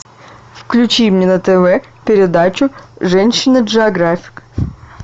включи мне на тв передачу женщина джеографик